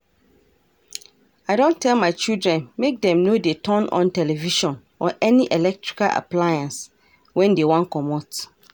I don tell my children make dem no dey turn on television or any electrical appliance wen dey wan comot